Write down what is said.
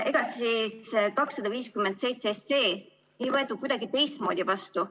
Ega siis 257 SE ei võetud kuidagi teistmoodi vastu.